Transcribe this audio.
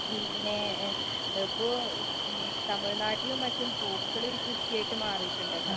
പിന്നെ അപ്പൊ ഉം തമിഴ് നാട്ടിലും മറ്റും പൂക്കളൊരു കൃഷിയായിട്ട് മാറീട്ട്ണ്ട് ല